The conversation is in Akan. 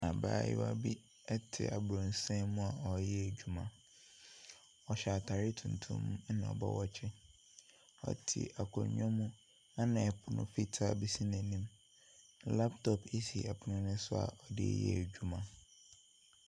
Abaayewa bi te abronsan bi mu a ɔreyɛ adwuma. Ɔjhyɛ ataare tuntum na ɔba watch. Ɔte akonnwa bi mu na pono fitaa bi si n'anim. Laptop bi si ɛpono no so a ɔde reyɛ adwuma.